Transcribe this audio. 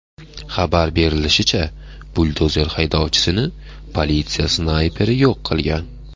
Xabar berilishicha, buldozer haydovchisini politsiya snayperi yo‘q qilgan.